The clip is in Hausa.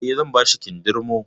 Eh, zan bashi kindirmo